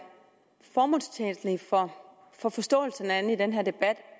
formålstjenligt for forståelsen af den her debat